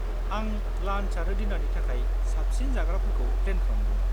आं लान्च आरो डिनारनि थाखाय साबसिन जाग्राफोरखौ प्लेन खालामगौमोन।